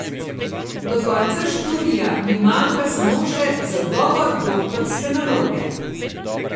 Do konca študija mi manjka samo še zagovor doktorske naloge.